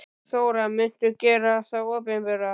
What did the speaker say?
Þóra: Muntu gera þá opinbera?